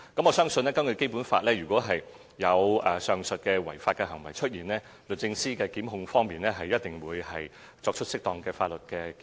我相信，根據《基本法》，如有上述違法行為出現，律政司一定會跟進，作出適當的檢控。